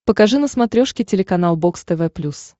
покажи на смотрешке телеканал бокс тв плюс